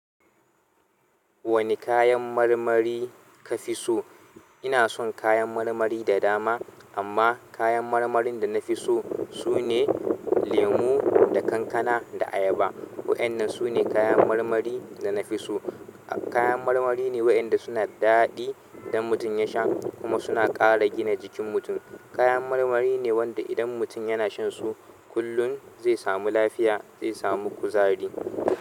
Wane kayan marmari ka fi so? Ina son kayan marmari da dama amma kayan marmarin da nafi so sune lemu, da kankana, da ayaba. Waɗannan su ne kayan marmari da na fi so. Kayan marmari ne waɗanda suna daɗi idan mutum ya sha kuma suna ƙara gina jikin mutum. Kayan marmari ne wanda idan mutum yana shan su kullum zai samu lafiya, zai samu kuzari.